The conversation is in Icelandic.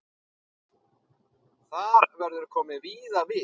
Þar verður komið víða við.